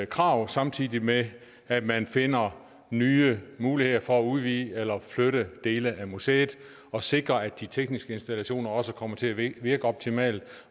krav samtidig med at man finder nye muligheder for at udvide eller flytte dele af museet og sikre at de tekniske installationer også kommer til at virke optimalt